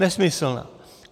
Nesmyslná!